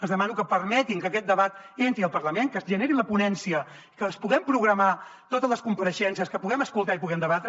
els demano que permetin que aquest debat entri al parlament que es generi la ponència que puguem programar totes les compareixences que puguem escoltar i puguem debatre